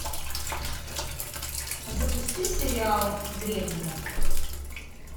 запусти сериал древние